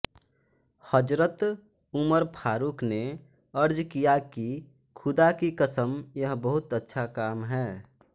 हज़रत Umar Farooq ने अर्ज़ किया कि ख़ुदा की क़सम यह बहुत अच्छा काम है